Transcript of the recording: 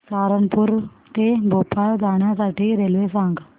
सहारनपुर ते भोपाळ जाण्यासाठी रेल्वे सांग